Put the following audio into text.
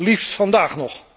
liefst vandaag nog